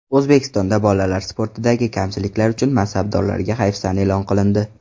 O‘zbekistonda bolalar sportidagi kamchiliklar uchun mansabdorlarga hayfsan e’lon qilindi.